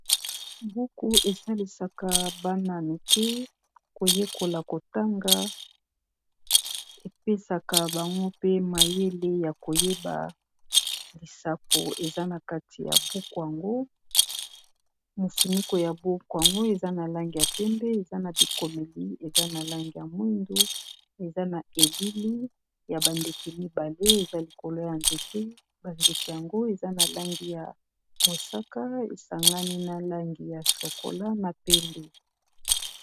Buku ésalisaka bana mikié koyékola kotanga épesaka bango pe mayélé ya koyéba lisapo eza na kati ya buku yango. Mofuniko ya buku yango eza na langi ya pembé eza na bikoméli eza na langi ya mwindu eza na élili ya ba ndéke mibalé eza likolo ya nzéte ba ndéke yango eza na langi ya mosaka ésangani na langi ya chocola na pembé.